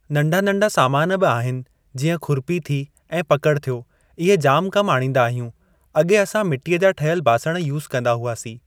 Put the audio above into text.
नन्ढा नन्ढा सामान बि आहिनि जीअं खुरपी थी ऐं पकिड़ थियो इहे जाम कमु आणिन्दा आहियूं अॻे असां मिटीअ जा ठहियल बासण यूस कन्दा हुआसीं।